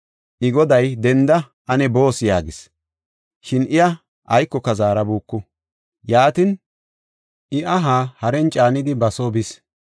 I goday, “Denda; ane boos” yaagis. Shin iya aykoka zaarabuuku. Yaatin, I aha haren caanidi ba soo bis.